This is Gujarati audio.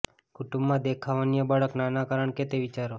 કુટુંબમાં દેખાવ અન્ય બાળક નાના કારણ કે તે વિચારો